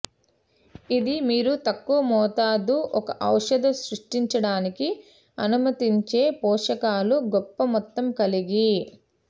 ఇది మీరు తక్కువ మోతాదు ఒక ఔషధ సృష్టించడానికి అనుమతించే పోషకాలు గొప్ప మొత్తం కలిగి